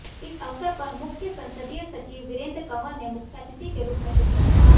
इस अवसर पर मुख्य संसदीय सचिव वीरेंद्र कंवर ने मुख्यातिथि के रूप में शिरकत की